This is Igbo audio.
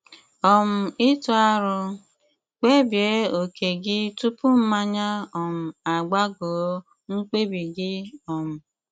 um Ị̀tụ aro: Kpébíé óké gí túpù mmányá um ágbàgọ̀ mkpebi gị́ um